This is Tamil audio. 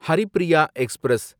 ஹரிப்ரியா எக்ஸ்பிரஸ்